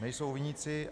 Nejsou viníci.